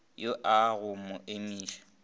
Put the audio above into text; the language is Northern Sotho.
yo a go mo imiša